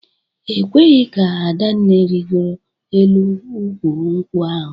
E kweghị ka Adanne rịgoro elu ukwu nkwụ ahụ